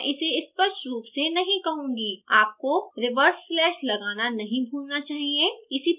यधपि मैं इसे स्पष्ट र्रोप से नहीं कहूँगी आपको reverse slash लगाना नहीं भूलना चाहिए